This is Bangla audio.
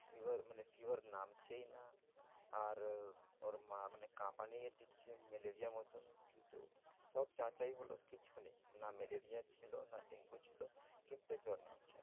Fever মানে fever নামছেই না। আর ওর মা মানে কাঁপানিও দিচ্ছে ম্যালেরিয়ার মতন। কিন্তু সব যাচাই হলো কিচ্ছু নেই, না ম্যালেরিয়া ছিল না ডেঙ্গু ছিল কিন্তু জ্বর নাম